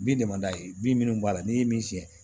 Bin de man d'a ye bin minnu b'a la n'i ye min siyɛn